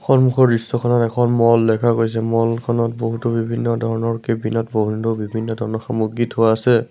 সন্মুখৰ দৃশ্যখনত এখন ম'ল দেখা গৈছে ম'ল খনত বহুতো বিভিন্ন ধৰণৰ কেবিলাক বভেন্ন বিভিন্ন ধৰণৰ সামগ্ৰী থোৱা আছে।